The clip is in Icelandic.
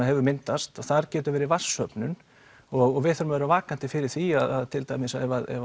hefur myndast þar getur verið vatnssöfnun og við þurfum að vera vakandi fyrir því ef að til dæmis